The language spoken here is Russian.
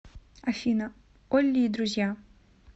афина олли и друзья